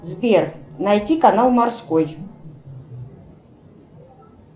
сбер найти канал морской